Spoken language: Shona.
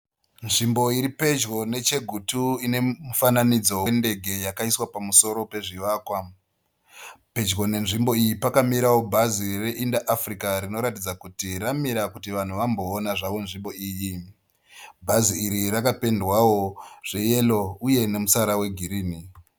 Nzvimbo iri pedyo neChegutu ine mufananidzo wendege wakaiswa pamusoro pezvivakwa. Pedyo nenzvimbo iyi pakamirawo bhazi reInter-Africa rinoratidza kuti ramira kuti vanhu vamboona zvavo nzvimbo iyi. Bhazi rakapendwawo zveyero uye nemutsara wegirinhi.